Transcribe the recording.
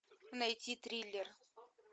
найти триллер